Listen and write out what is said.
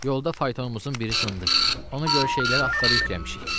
Yolda faytonumuzun biri sındı, ona görə şeyləri atlara yükləmişik.